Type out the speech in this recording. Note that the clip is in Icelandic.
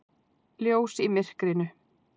Ljós í myrkrinu.